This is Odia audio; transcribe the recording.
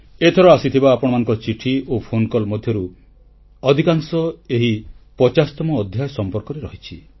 ଏଥର ଆସିଥିବା ଆପଣମାନଙ୍କ ଚିଠି ଓ ଫୋନକଲ୍ ମଧ୍ୟରୁ ଅଧିକାଂଶ ଏହି 50ତମ ଅଧ୍ୟାୟ ସମ୍ପର୍କରେ ରହିଛି